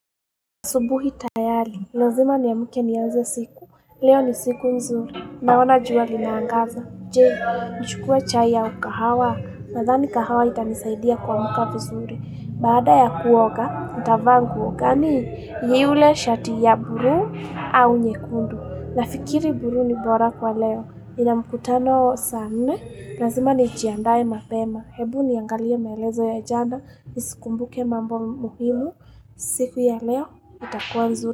Subuhi tayari, lazima niamuke niaze siku. Leo ni siku nzuri. Naona jua linaangaza. Je, nchukue chai au wakahawa. Nadhani kahawa itanisaidia kuamuka vizuri. Baada ya kuoga, nitavaa nguo ngani. Ni yule shati ya bulu au nyekundu. Nafikiri bulu ni bora kwa leo. Nina mkutano saa nne. Lazima nijiandae mapema. Hebu niangalie maelezo ya jana. Nisikumbuke mambo muhimu. Siku ya leo itakua nzuri.